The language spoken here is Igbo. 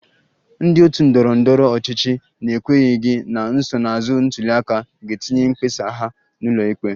Ndị otu ndọrọ ndọrọ ọchịchị na-ekwenyeghị na nsonaazụ ntuli aka ga-etinye mkpesa ha n'ụlọ ikpe